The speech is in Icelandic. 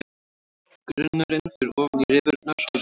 Grunnurinn fer ofan í rifurnar og rispurnar.